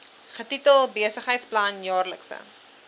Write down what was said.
getitel besigheidsplan jaarlikse